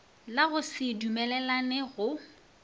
la go se dumelelane go